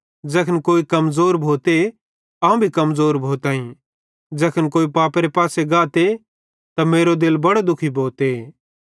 ज़ैखन कोई कमज़ोर भोते अवं भी कमज़ोर भोताईं ज़ैखन कोई पापेरे पासे गाते त मेरो दिल बड़ो दुखी भोते